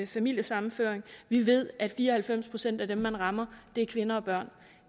familiesammenføring vi ved at fire og halvfems procent af dem man rammer er kvinder og børn